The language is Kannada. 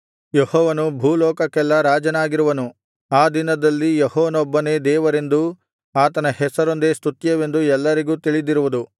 ಯೆಹೋವನು ಭೂಲೋಕಕ್ಕೆಲ್ಲಾ ರಾಜನಾಗಿರುವನು ಆ ದಿನದಲ್ಲಿ ಯೆಹೋವನೊಬ್ಬನೇ ದೇವರೆಂದೂ ಆತನ ಹೆಸರೊಂದೇ ಸ್ತುತ್ಯವೆಂದೂ ಎಲ್ಲರಿಗೂ ತಿಳಿದಿರುವುದು